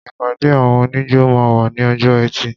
ìpàdé àwọn oníjó máa wà ní ọjọ́ ẹtì.